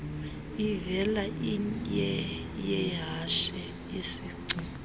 ivela iyeyehashe isingci